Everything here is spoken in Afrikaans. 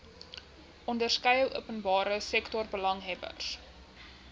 onderskeie openbare sektorbelanghebbers